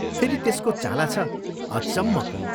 फेरि त्यसको चाला छ अचम्मको।